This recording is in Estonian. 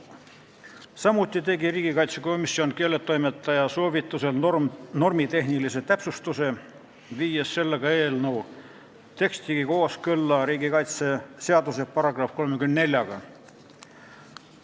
Samuti tegi komisjon keeletoimetaja soovitusel normitehnilise täpsustuse, viies eelnõu teksti kooskõlla riigikaitseseaduse §-ga 34.